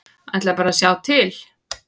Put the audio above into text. Ætla bara að sjá til.